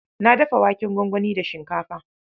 Na dafa waken gwangwani da shinkafa.